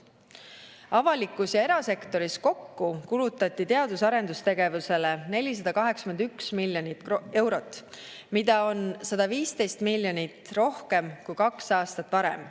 Avalikus ja erasektoris kokku kulutati teadus‑ ja arendustegevusele 481 miljonit eurot, mida on 115 miljonit rohkem kui kaks aastat varem.